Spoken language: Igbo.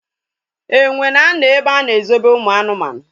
Enwe na-anọ ebe a na ezobe ụmụ anụmanụ